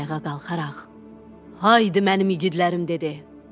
Ayağa qalxaraq, Haydı mənim igidlərim, dedi.